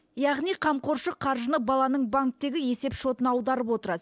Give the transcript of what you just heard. яғни қамқоршы қаржыны баланың банктегі есеп шотына аударып отырады